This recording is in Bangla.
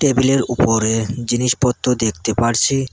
টেবিলের উপরে জিনিসপত্র দেখতে পারছি।